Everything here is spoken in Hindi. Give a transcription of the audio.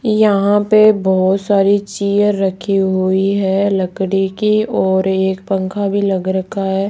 यहां पे बहुत सारी चेयर रखी हुई है लकड़ी की और एक पंखा भी लग रखा है।